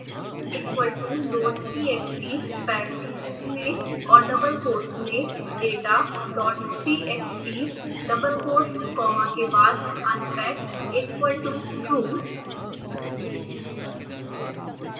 xequal toloadtxtparentheses में और double quotes मेंdatadottxtdouble quotes comma के बाद unpackequal totrue